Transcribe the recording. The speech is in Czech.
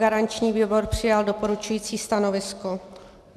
Garanční výbor přijal doporučující stanovisko.